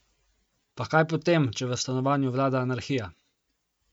Pa kaj potem, če v stanovanju vlada anarhija!